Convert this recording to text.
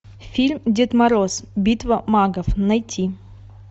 фильм дед мороз битва магов найти